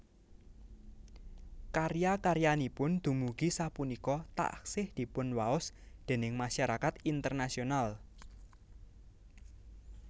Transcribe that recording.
Karya karyanipun dumugi sapunika taksih dipunwaos déning masyarakat internasional